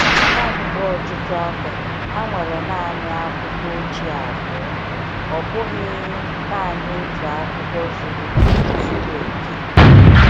Kamgbe ọtụtụ afọ, ha nwere naanị akwụkwọ ochie abụọ — ọ bụghị naanị otu akwụkwọ zuru zuru oke.